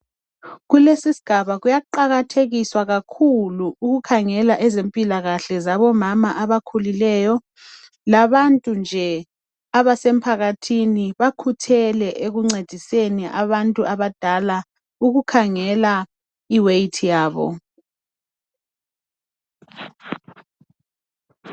Kulesi isigaba kuyaqakathekiswa kakhulu ukukhangela ezempilakahle zabo mama abakhulileyo labantu nje abasemphakathini bakhuthele ekungcediseni abantu abadala ukukhangela iweight yabo